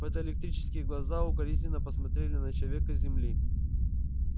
фотоэлектрические глаза укоризненно посмотрели на человека с земли